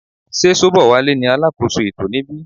Sé Sobowale ní alákóso ètò níbí.